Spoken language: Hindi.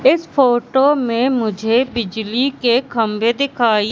इस फोटो में मुझे बिजली के खंभे दिखाई--